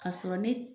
K'a sɔrɔ ne